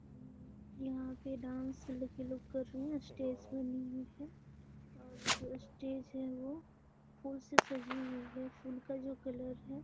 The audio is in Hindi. हम्म यहाँ पे डांस लड़की लोग कर रहे हैं। स्टेज बनी हुई है और जो स्टेज है वो फूल से सजी हुई है। फूल का जो कलर है --